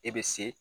E be se